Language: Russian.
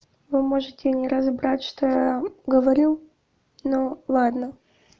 вы можете не разобрать что я говорю но ладно